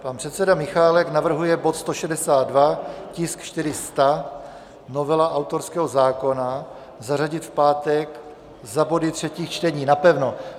Pan předseda Michálek navrhuje bod 162, tisk 400 - novela autorského zákona, zařadit v pátek za body třetích čtení napevno.